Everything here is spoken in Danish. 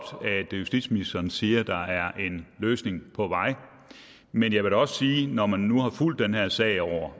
at justitsministeren siger at der er en løsning på vej men jeg vil da også sige når man nu har fuldt den her sag over